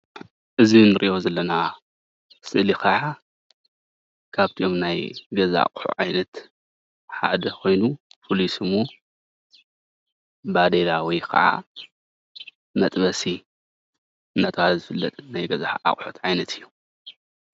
እዚ እንሪኦ ዘለና ስእሊ ከዓ ካብቶም ናይ ገዛ ኣቁሑት ዓይነት ሓደ ኮይኑ ፍሉይ ስሙ ባዴላ ወይ ከዓ መጥበሲ እንዳተባሃለ ዝፍለጥ ናይ ገዛ ኣቁሕት ዓይነት እዩ፡፡